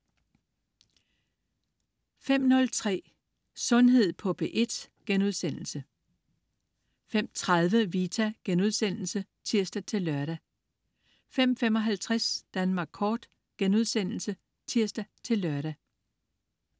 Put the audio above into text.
05.03 Sundhed på P1* 05.30 Vita* (tirs-lør) 05.55 Danmark Kort* (tirs-lør)